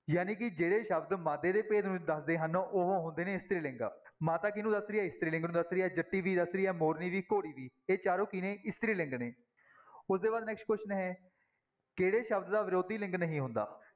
ਜਾਣੀ ਕਿ ਜਿਹੜੇ ਸ਼ਬਦ ਮਾਦੇ ਦੇ ਭੇਦ ਨੂੰ ਦੱਸਦੇ ਹਨ, ਉਹ ਹੁੰਦੇ ਨੇ ਇਸਤਰੀ ਲਿੰਗ, ਮਾਤਾ ਕਿਹਨੂੂੰ ਦੱਸ ਰਹੀ ਹੈ ਇਸਤਰੀ ਲਿੰਗ ਨੂੰ ਦੱਸ ਰਹੀ ਹੈ, ਜੱਟੀ ਦੀ ਦੱਸ ਰਹੀ ਹੈ ਮੋਰਨੀ ਦੀ ਘੋੜੀ ਦੀ ਇਹ ਚਾਰੋ ਕੀ ਨੇ ਇਸਤਰੀ ਲਿੰਗ ਨੇ ਉਹਦੇ ਬਾਅਦ next question ਹੈ, ਕਿਹੜੇ ਸ਼ਬਦ ਦਾ ਵਿਰੋਧੀ ਲਿੰਗ ਨਹੀਂ ਹੁੰਦਾ।